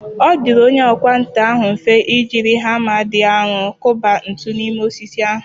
Ọ dịrị onye ọkwá nkà ahụ mfe i jiri hama dị arọ kụba ntu n’ime osisi ahụ.